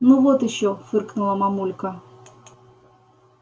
ну вот ещё фыркнула мамулька